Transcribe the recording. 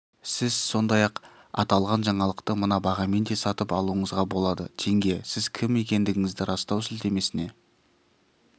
сіз сондай-ақ аталған жаңалықты мына бағамен де сатып алуыңызға болады теңге сіз кім екендігіңізді растау сілтемесіне